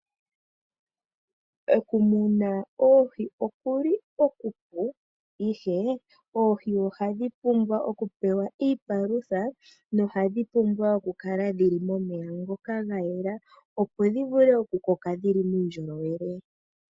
Okumuna oohi okuli okupu ashike oohi ohadhi pumbwa okupewa iipalutha nohadhi pumbwa okukala dhili momeya ngoka ga yela opo dhi vule okukoka dhi li muundjolowele.